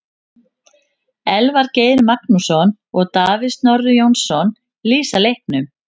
Elvar Geir Magnússon og Davíð Snorri Jónasson lýsa leiknum.